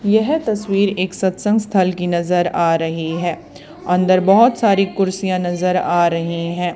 यह तस्वीर एक सत्संग स्थल की नजर आ रही है अंदर बहोत सारी कुर्सियां नजर आ रही है।